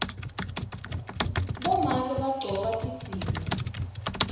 bomake bagcoka tidziya